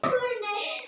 Fundi er slitið.